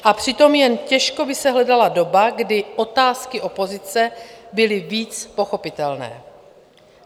A přitom jen těžko by se hledala doba, kdy otázky opozice byly víc pochopitelné.